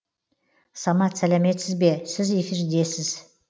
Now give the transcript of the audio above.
самат сәлеметсіз бе сіз эфирдесіз